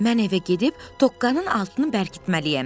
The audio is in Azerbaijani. Mən evə gedib toqqanın altını bərkitməliyəm.